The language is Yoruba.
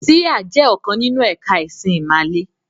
“Síhà” jẹ́ ọ̀kan nínú ẹ̀ka ẹ̀sìn ìmàle.